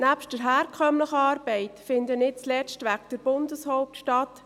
Nebst der herkömmlichen Arbeit finden, nicht zuletzt wegen der Bundeshauptstadt;